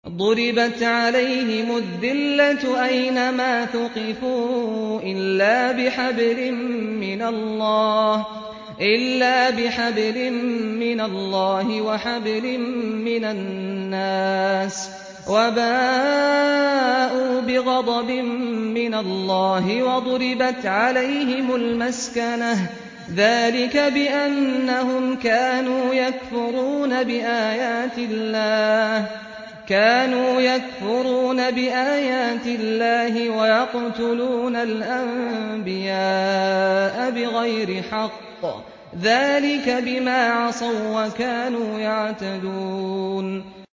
ضُرِبَتْ عَلَيْهِمُ الذِّلَّةُ أَيْنَ مَا ثُقِفُوا إِلَّا بِحَبْلٍ مِّنَ اللَّهِ وَحَبْلٍ مِّنَ النَّاسِ وَبَاءُوا بِغَضَبٍ مِّنَ اللَّهِ وَضُرِبَتْ عَلَيْهِمُ الْمَسْكَنَةُ ۚ ذَٰلِكَ بِأَنَّهُمْ كَانُوا يَكْفُرُونَ بِآيَاتِ اللَّهِ وَيَقْتُلُونَ الْأَنبِيَاءَ بِغَيْرِ حَقٍّ ۚ ذَٰلِكَ بِمَا عَصَوا وَّكَانُوا يَعْتَدُونَ